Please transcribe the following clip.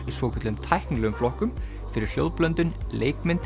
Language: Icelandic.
í svokölluðum tæknilegum flokkum fyrir hljóðblöndun leikmynd